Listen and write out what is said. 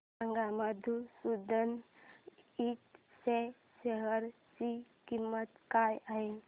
सांगा मधुसूदन इंड च्या शेअर ची किंमत काय आहे